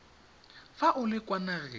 fa o le kwa nageng